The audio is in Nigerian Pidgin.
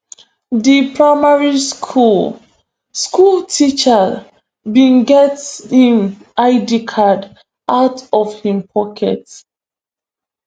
di primary school school teacher bin get im id card out of im pocket